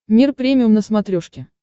мир премиум на смотрешке